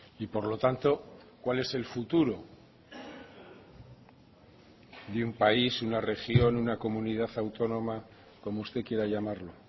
y por lo tanto cuál es el futuro de un país una región una comunidad autónoma como usted quiera llamarlo